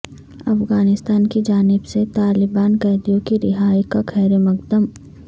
افغانستان کی جانب سے طالبان قیدیوں کی رہائی کا خیرمقدم